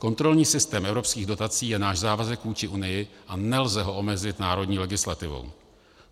Kontrolní systém evropských dotací je náš závazek vůči Unii a nelze ho omezit národní legislativou.